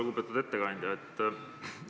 Lugupeetud ettekandja!